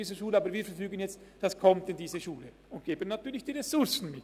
Natürlich geben wir dann auch die Ressourcen mit.